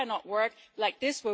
It cannot work like this.